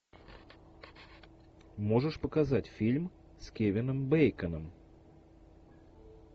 можешь показать фильм с кевином бейконом